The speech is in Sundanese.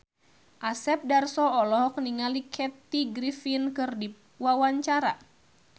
Asep Darso olohok ningali Kathy Griffin keur diwawancara